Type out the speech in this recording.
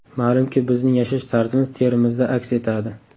Ma’lumki, bizning yashash tarzimiz terimizda aks etadi.